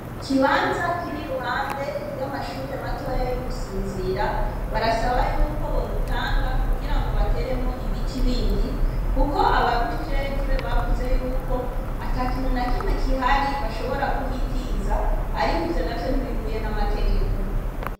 Ikibanza kiri iruhande y'amashure matoya y'i Musinzira, barasaba yuko bogitanga, kugira ngo bateremwo ibiti bindi, kuko ababijejwe bavuze yuko ata kintu na kimwe kihari, bashobora kuhitiza, ariko ivyo navyo ntibihuye n'amategeko.